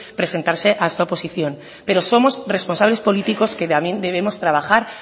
presentarse a esta oposición pero somos responsables políticos que también debemos trabajar